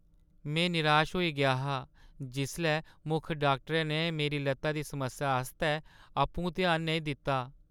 में निराश होई गेआ हा जिसलै मुक्ख डाक्टरै ने मेरी लत्ता दी समस्या आस्तै आपूं ध्यान नेईं दित्ता।